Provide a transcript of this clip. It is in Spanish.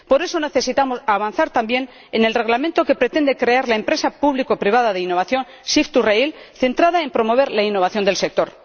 Por eso, necesitamos avanzar también en el Reglamento que pretende crear la empresa público privada de innovación Shif2Rail centrada en promover la innovación del sector.